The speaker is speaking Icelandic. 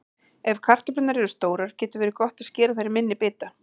Ef kartöflurnar eru stórar getur verið gott að skera þær í minni bita.